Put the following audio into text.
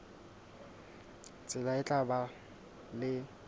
tsela e tla ba le